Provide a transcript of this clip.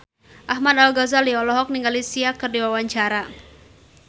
Ahmad Al-Ghazali olohok ningali Sia keur diwawancara